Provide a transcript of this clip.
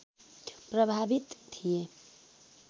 प्रभावित थिए